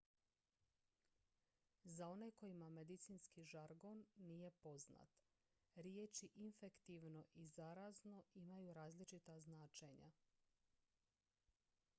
za one kojima medicinski žargon nije poznat riječi infektivno i zarazno imaju različita značenja